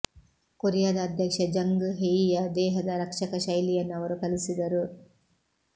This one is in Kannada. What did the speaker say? ಕೊರಿಯಾದ ಅಧ್ಯಕ್ಷ ಜಂಗ್ ಹೆಯಿಯ ದೇಹದ ರಕ್ಷಕ ಶೈಲಿಯನ್ನು ಅವರು ಕಲಿಸಿದರು